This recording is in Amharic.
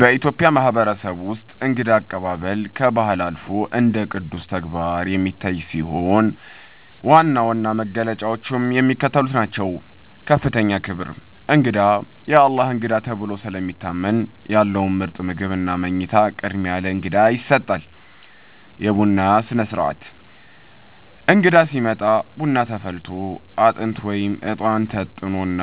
በኢትዮጵያ ማህበረሰብ ውስጥ እንግዳ አቀባበል ከባህል አልፎ እንደ ቅዱስ ተግባር የሚታይ ሲሆን፣ ዋና ዋና መገለጫዎቹም የሚከተሉት ናቸው፦ ከፍተኛ ክብር፦ እንግዳ "የአላህ እንግዳ" ተብሎ ስለሚታመን፣ ያለው ምርጥ ምግብና መኝታ ቅድሚያ ለእንግዳ ይሰጣል። የቡና ሥነ-ሥርዓት፦ እንግዳ ሲመጣ ቡና ተፈልቶ፣ አጥንት (እጣን) ታጥኖና